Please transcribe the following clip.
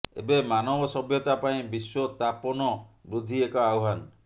ଏବେ ମାନବ ସଭ୍ୟତା ପାଇଁ ବିଶ୍ୱତାପନ ବୃଦ୍ଧି ଏକ ଆହ୍ୱାନ